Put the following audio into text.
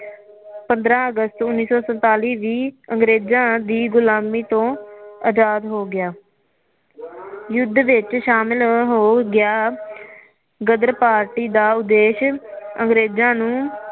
ਪੰਦਰਾ ਅਗਸਤ ਉਨੀ ਸੌ ਸੰਤਾਲੀ ਵੀ ਅੰਗਰੇਜਾ ਦੀ ਗੁਲਾਮੀ ਤੋ ਆਜਾਦ ਹੋ ਗਿਆ ਯੁੱਦ ਵਿੱਚ ਸ਼ਾਮਲ ਹੋ ਗਿਆ ਗਦਰ ਪਾਰਟੀ ਦਾ ਉਦੇਸ਼ ਅੰਗਰੇਜਾ ਨੂੰ